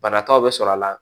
Banataw bɛ sɔrɔ a la